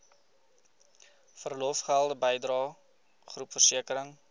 verlofgelde bydrae groepversekering